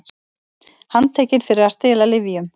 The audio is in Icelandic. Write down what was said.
Handtekin fyrir að stela lyfjum